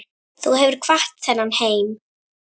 Þú hefur kvatt þennan heim.